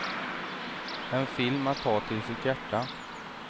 En film att ta till sitt hjärta.